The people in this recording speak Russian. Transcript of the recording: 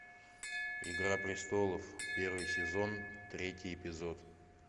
игра престолов первый сезон третий эпизод